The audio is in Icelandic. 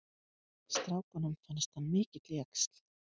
Strákunum fannst hann mikill jaxl.